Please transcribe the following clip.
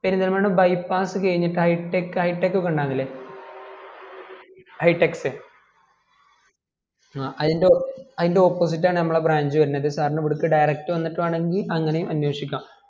Perinthalmanna bypass കൈഞ്ഞിട്ട് high tech highteck ഉണ്ടാക്കൽ ഇല്ലെ hightext ആ അയ്ൻ്റെ opposite ആണ് നമ്മുടെ branch വെരുന്നത് sir ന് ഇവിടെക് direct വന്നിട്ട് വേണെങ്കിൽ അങ്ങനയും അനേഷിക്കാം